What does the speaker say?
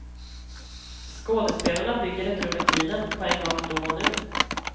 Skådespelarna bygger ett rum i tiden, på en gång då och nu.